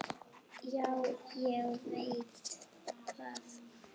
Já, ég veit það.